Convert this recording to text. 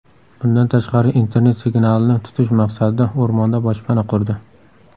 Bundan tashqari internet signalini tutish maqsadida o‘rmonda boshpana qurdi.